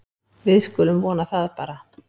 Við skulum vona það bara.